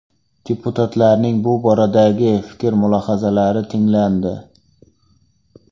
Deputatlarning bu boradagi fikr-mulohazalari tinglandi.